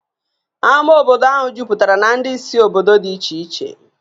Ámá obodo ahụ juputara na ndị si obodo dị iche iche